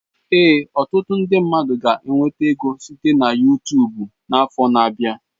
Ee, ọtụtụ ndi mmadụ ga enweta ego site na Yutubu n'afọ na abịa.